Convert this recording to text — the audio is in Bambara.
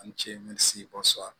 Ani ce